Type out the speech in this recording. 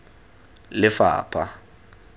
lefapha